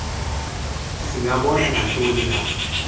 singabona ngantoni na